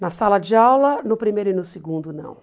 Na sala de aula, no primeiro e no segundo, não.